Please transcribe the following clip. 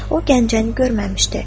O, Gəncəni görməmişdi.